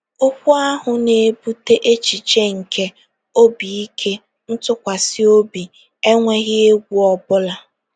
Okwu ahụ na-ebute echiche nke “obi ike, ntụkwasị obi,... enweghị egwu ọ bụla.”